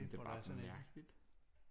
Det er bare sådan mærkeligt